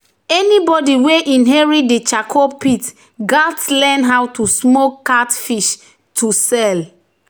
"anybody wey inherit di charcoal pit gats learn how to smoke catfish to sell."